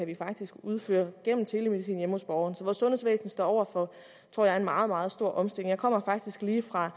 vi faktisk kan udføre gennem telemedicin hjemme hos borgeren så jeg sundhedsvæsen står over for en meget meget stor omstilling jeg kommer faktisk lige fra